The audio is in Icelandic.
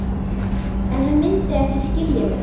En hann mundi ekki skilja mig.